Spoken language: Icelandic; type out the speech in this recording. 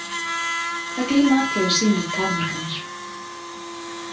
Það glíma allir við sínar takmarkanir.